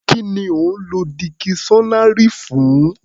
Kí ni ò ń lọ dikiṣọ́nárì fún?